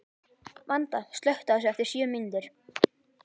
Vanda, slökktu á þessu eftir sjö mínútur.